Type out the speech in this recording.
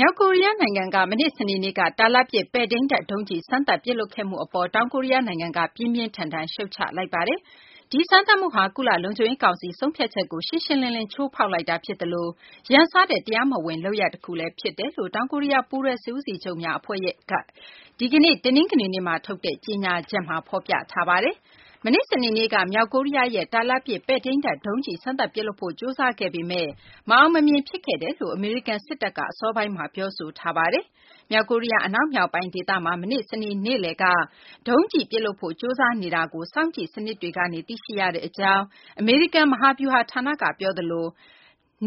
မြောက်ကိုရီးယား နိုင်ငံက မနေ့ စနေနေ့က တာလတ်ပစ် ပဲ့ထိန်းတပ် ဒုံးကျည် စမ်းသပ် ပစ်လွှတ်ခဲ့မှု အပေါ် တောင်ကိုရီးယား နိုင်ငံက ပြင်းပြင်းထန်ထန် ရှုတ်ချလိုက်ပါတယ်။ ဒီစမ်းသပ်မှုဟာ ကုလ လုံခြုံရေး ကောင်စီ ဆုံးဖြတ်ချက်ကို ရှင်းရှင်းလင်းလင်း ချိုးဖောက်လိုက်တာဖြစ်သလို ရန်စတဲ့ တရားမဝင် လုပ်ရပ် တခုလည်း ဖြစ်တယ်လို့ တောင်ကိုရီးယား ပူးတွဲစစ်ဦးစီးချုပ်များ အဖွဲ့ရဲ့ ဒီကနေ့ တနင်္ဂနွေနေ့မှာ ထုတ်တဲ့ ကြေညာချက်မှာ ဖော်ပြထားပါတယ်။ မနေ့ စနေနေ့က မြောက်ကိုရီးယားရဲ့ တာလတ်ပစ် ပဲ့ထိန်းတပ် ဒုံးကျည် စမ်းသပ်ပစ်လွှတ်ဖို့ ကြိုးစားခဲ့ပေမယ့် မအောင်မမြင် ဖြစ်ခဲ့တယ်လို့ အမေရိကန် စစ်တပ်က အစောပိုင်းမှာ ပြောဆိုထားတာပါ။ မြောက်ကိုရီးယား အနောက်မြောက်ပိုင်းဒေသမှာ မနေ့ စနေနေ့ နေ့လည်က ဒုံးကျည်ပစ်လွှတ်ဖို့ ကြိုးစားနေတာကို စောင့်ကြည့်စံနစ်တွေ ကနေ သိရှိရကြောင်း အမေရိကန် မဟာဗျူဟာဌာန ကပြောသလို